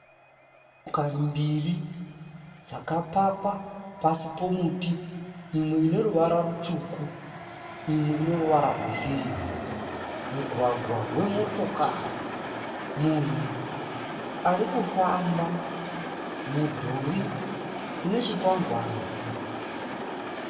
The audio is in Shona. Motokari mbiri dzakapakwa pasi pemuti. Imwe ine ruvara rutsvuku imwe ine ruvara rwe sirivha. Mugwagwa wemotakari, munhu arikufamba, mudhuri une chikwangwani.